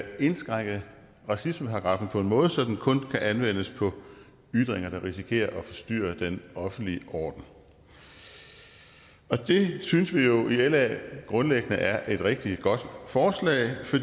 indskrænke racismeparagraffen på en måde så den kun kan anvendes på ytringer der risikerer at forstyrre den offentlige orden og det synes vi jo i la grundlæggende er et rigtig godt forslag for